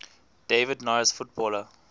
david norris footballer